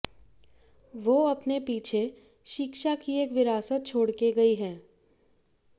वो अपने पीछे शिक्षा की एक विरासत छोड़कर गई हैं